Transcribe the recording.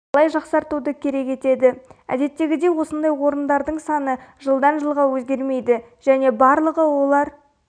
талай жақсартуды керек етеді әдеттегідей осындай орындардың саны жалдан жылға өзгермейді және барлығы олар